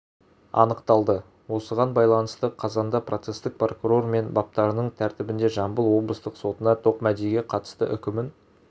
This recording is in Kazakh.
анықталды осыған байланысты қазанда процесстік прокурор және баптарының тәртібінде жамбыл облыстық сотына тоқмәдиге қатысты үкімін